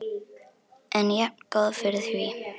En jafngóð fyrir því!